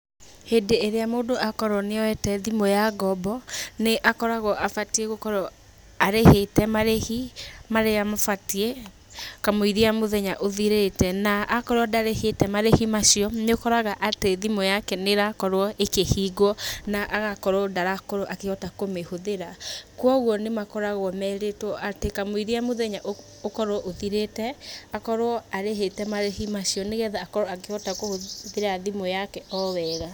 Hĩndĩ ĩrĩa mũndũ akorwo nĩoyete thimũ ya ngombo, nĩ akoragwo abatie gũkorwo arĩhĩte marĩhi marĩa mabatie, kamũiria mũthenya ũthirĩte, na akorwo ndarĩhĩte marĩhi macio nĩ ũkoraga atĩ thimũ yake nĩrakorwo ĩkĩhingwo, na agakorwo ndarakorwo akĩhota kũmĩhũthĩra. Koguo nĩ makoragwo merĩtwo atĩ kamũiria mũthenya ũkorwo ũthirĩte, akorwo arĩhĩte marĩhi macio nĩgetha akorwo akĩhũthĩra thimũ yake o wega.